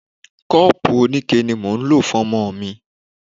Kọ́pùù oníke ni mò ń lò fún ọmọ mi.